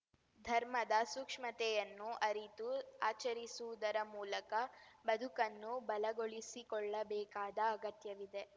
ಧರ್ಮದ ಸೂಕ್ಷ್ಮತೆಯನ್ನು ಅರಿತು ಆಚರಿಸುವುದರ ಮೂಲಕ ಬದುಕನ್ನು ಬಲಗೊಳಿಸಿಕೊಳ್ಳಬೇಕಾದ ಅಗತ್ಯವಿದೆ